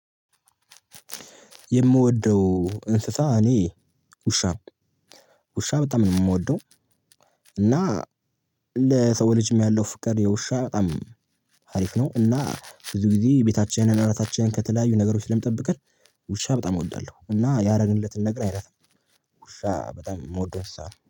የምወደው እንስሳ እኔ ውሻ ነው ውሻ በጣም ነው የምወደው። እና ለሰው ልጅም ያለው ፍቅር የውሻ በጣም ሀሪፍ ነው። እና ብዙ ጊዜ ቤታችንን እራሳችንን ከተለያዩ ነገሮች ስለምጠብቀን ውሻ በጣም እወዳለሁ። እና ያደረግለትን ነገር አይረሳም። ውሻ በጣም የምወደው እንስሳ ነው